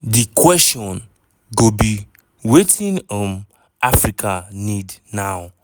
"di kwesion go be wetin um africa need now?